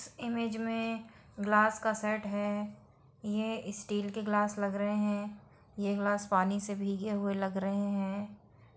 इस इमेज मे ग्लास का सेट है ये स्टील के ग्लास लग रहे है ये ग्लास पानी से भींगे हुए लग रहे है ।